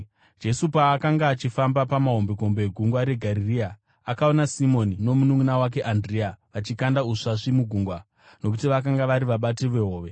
Jesu paakanga achifamba pamahombekombe eGungwa reGarirea, akaona Simoni nomununʼuna wake Andirea vachikanda usvasvi mugungwa, nokuti vakanga vari vabati vehove.